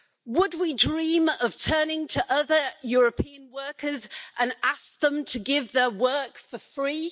Would we dream of turning to other European workers and asking them to give their work for free?